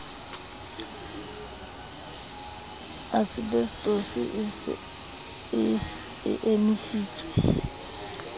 asebesetose e se e emisitse